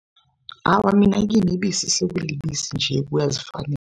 Awa, mina kimi ibisi sekulibisi nje kuyazifanela.